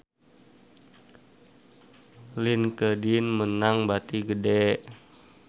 Linkedin meunang bati gede